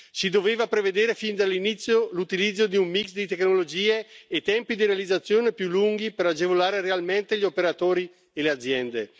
Si doveva prevedere fin dall'inizio l'utilizzo di un mix di tecnologie e tempi di realizzazione più lunghi per agevolare realmente gli operatori e le aziende.